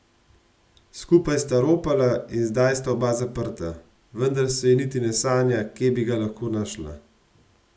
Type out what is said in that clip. Skupaj sta ropala in zdaj sta oba zaprta, vendar se ji niti ne sanja, kje bi ga lahko našla.